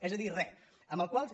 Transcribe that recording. és a dir re amb la qual cosa